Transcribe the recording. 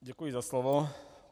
Děkuji za slovo.